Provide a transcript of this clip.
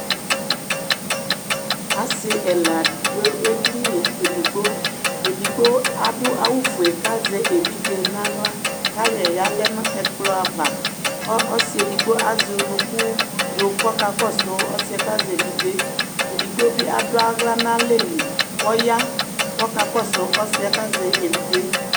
Asɩ ɛla dʋ edini edigbo Edigbo adʋ awʋfue kʋ azɛ evidze nʋ aɣla kʋ ayɔ yɩ yalɛ nʋ ɛkplɔ ava kʋ ɔsɩ edigbo azɛ unuku dʋ kʋ ɔkakɔsʋ ɔsɩ yɛ kazɛ evidze yɛ Edigbo bɩ adʋ aɣla nʋ alɛ li kʋ ɔya kʋ ɔkakɔsʋ ɔsɩ yɛ kʋ azɛ evidze yɛ